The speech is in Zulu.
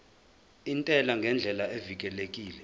intela ngendlela evikelekile